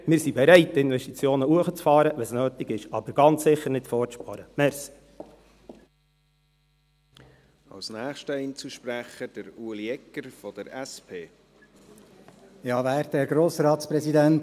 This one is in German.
Denn wir sind bereit, die Investitionen hochzufahren, wenn es nötig ist, aber ganz sicher nicht für ein Vorsparen.